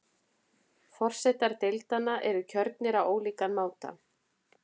Forsetar deildanna eru kjörnir á ólíkan máta.